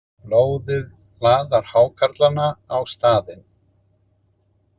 Blóðið laðar hákarlana á staðinn.